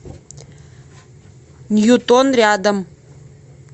ньютон рядом